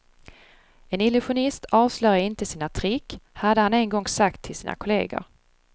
En illusionist avslöjar inte sina trick, hade han en gång sagt till sina kolleger.